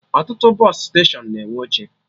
Ọtụtụ bọsụ steshọnụ na-enwe oche